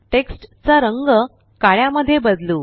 text चा रंग काळ्या मध्ये बदलू